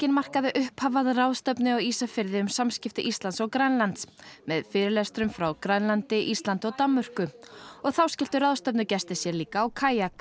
markaði upphaf að ráðstefnu á Ísafirði um samskipti Íslands og Grænlands með fyrirlestrum frá Grænlandi Íslandi og Danmörku og þá skelltu ráðstefnugestir sér líka á kajak